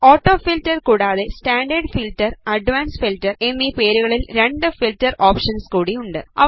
auto filter കൂടാതെ standard filter advanced filter എന്നീ പേരുകളിൽ രണ്ട് ഫീൽറ്റർ ഓപ്ഷൻസ് കൂടി ഉണ്ട്